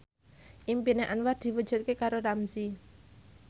impine Anwar diwujudke karo Ramzy